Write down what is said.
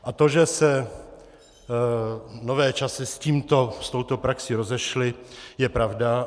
A to, že se nové časy s tímto, s touto praxí rozešly, je pravda.